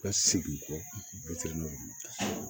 Ka segin kɔ n'olu